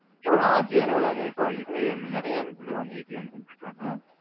எவ்வளவு RPM வருதுங்க இதுல நெறையா one eighty, two hundredனு வந்திருக்கும்.